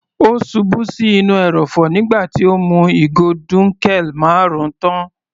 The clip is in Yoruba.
Ó ṣubú sí inú ẹrọ̀fọ̀ nígbà tí ó mú ìgò dunkel marun tán.